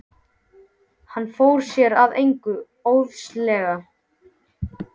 Hann fór sér að engu óðslega.